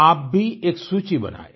आप भी एक सूची बनायें